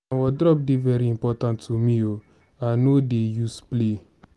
my wardrope dey very important to me o i no dey use play.